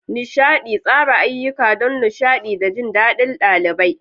Nishaɗi: Tsara ayyuka don nishaɗi da jin daɗin ɗalibai.